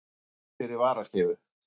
Að hafa einhvern fyrir varaskeifu